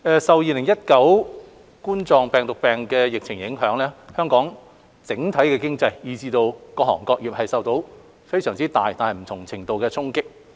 受2019冠狀病毒病疫情影響，香港整體經濟以至各行各業都受到非常大但不同程度的衝擊。